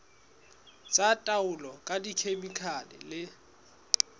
tsa taolo ka dikhemikhale le